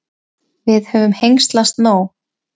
Við höfum hengslast nóg.